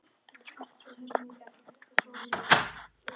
Eftir ferðina suður tóku framtíðaráformin á sig raunhæfa mynd.